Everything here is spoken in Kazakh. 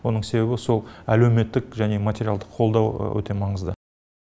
оның себебі сол әлеуметтік және материалдық қолдау өте маңызды